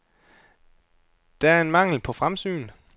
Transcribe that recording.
Der er en mangel på fremsyn.